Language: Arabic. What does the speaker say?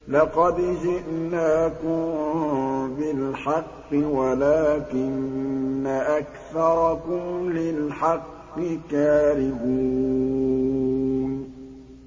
لَقَدْ جِئْنَاكُم بِالْحَقِّ وَلَٰكِنَّ أَكْثَرَكُمْ لِلْحَقِّ كَارِهُونَ